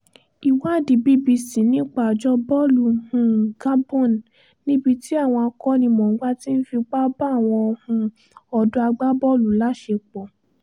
ìwádìí bbc nípa àjọ bọ́ọ̀lù um gabon níbi tí àwọn akó̩nimò̩ọ́gbá ti ń fipá bá àwọn um ọ̀dọ́ agbábọ́ọ̀lù láṣepọ̀